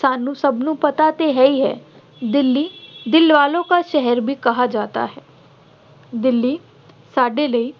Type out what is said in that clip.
ਸਾਨੂੰ ਸਭ ਨੂੰ ਪਤਾ ਤੇ ਹੀ ਹੈ ਦਿੱਲੀ ਦਿਲ ਵਾਲੋ ਕਾ ਸ਼ਹਿਰ ਵੀ ਕਹਾ ਜਾਤਾ ਹੈ। ਦਿੱਲੀ ਸਾਡੇ ਲਈ